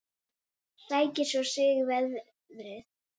Sækir svo í sig veðrið.